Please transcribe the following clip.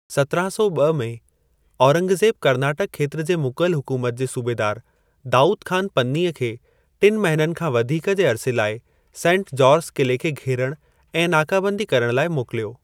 सत्राहं सौ ॿ में, औरंगज़ेब कर्नाटक खेत्र जे मुग़ल हुकुमत जे सूबेदार दाउद खान पन्नीअ खे टिन महिननि खां वधीक जे अर्से लाइ सेंट जॉर्ज क़िले खे घेरण ऐं नाकाबंदी करण लाइ मोकिलियो।